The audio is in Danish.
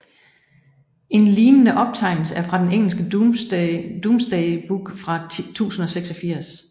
En lignende optegnelse er den engelske Domesday Book fra 1086